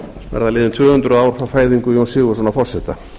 verða liðin tvö hundruð ár frá fæðingu jóns sigurðssonar forseta